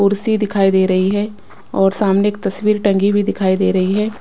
कुर्सी दिखाई दे रही है और सामने एक तस्वीर टंगी भी दिखाई दे रही है।